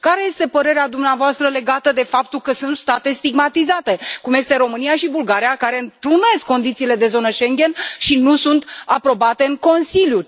Care este părerea dumneavoastră legată de faptul că sunt state stigmatizate, cum sunt România și Bulgaria, care întrunesc condițiile de zona Schengen și nu sunt aprobate în Consiliu?